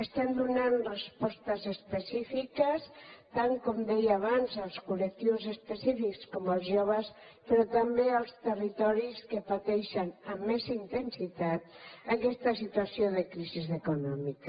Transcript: estem donant respostes específiques tal com deia abans als col·lectius específics com els joves però també als territoris que pateixen amb més intensitat aquesta situació de crisi econòmica